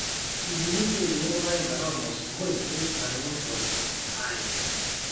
iindim sii aidong'o irpaek metaa ormosokoi neitushulakini impoosho aanya